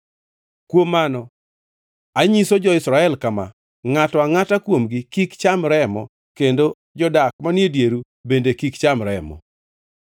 Kuom mano, anyiso jo-Israel kama: “Ngʼato angʼata kuomgi kik cham remo kendo jodak manie dieru bende kik cham remo.”